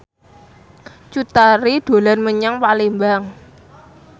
Cut Tari dolan menyang Palembang